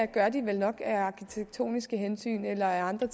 gør de nok af arkitektoniske hensyn eller af andre